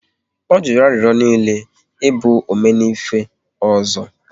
Ọ jụrụ arịrịọ niile ị bụ 'Omenife' ọzọ